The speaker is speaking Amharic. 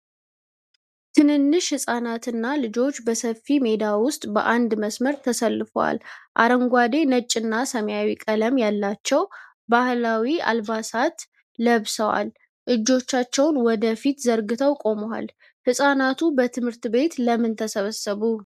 ትንንሽ ህፃናትና ልጆች በሰፊ ሜዳ ውስጥ በአንድ መስመር ተሰልፈዋል። አረንጓዴ፣ ነጭና ሰማያዊ ቀለም ያላቸው ባህላዊ አልባሳት ለብሰዋል። እጆቻቸውን ወደ ፊት ዘርግተው ቆመዋል። ህፃናቱ በትምህርት ቤት ለምን ተሰበሰቡ?